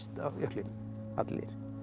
á jöklinum allir